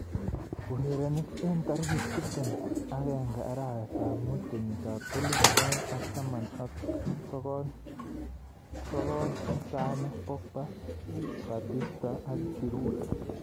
Urerenik eng tarik tiptem agenge arawet ab mut kenyit ab elipu aeng ak taman ak sokol, Sane, Pogba, Batistuta, Giroud.